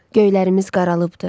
Göylərimiz qaralıbdır.